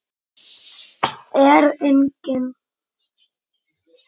Er enginn?